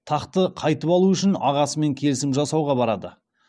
тақты қайтып алу үшін ағасымен келісім жасауға барады